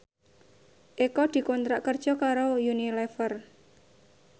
Eko dikontrak kerja karo Unilever